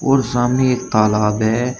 और सामने एक तालाब है।